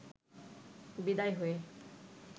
বিদায় হয়ে